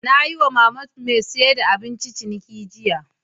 Na yi wa mama mai siyar da abinci ciniki jiya.